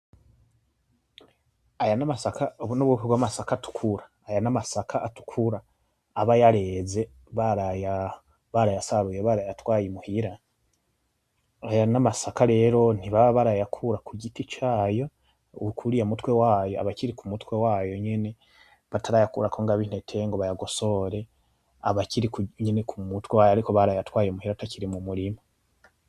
Aya n'amasaka, ubu n'ubwoko bw'amasaka atukura, aya n'amasaka atukura aba yareze baraya barayasaruye barayatwaye imuhira, aya n'amasaka rero ntibaba barayakura ku giti cayo, kuriya mutwe wayo, abakiri ku mutwe wayo nyene batarayakurako ngo abe intete ngo bayagosore, abakiri nyene ku mutwe wayo ariko barayatwaye muhira atakiri mu murima.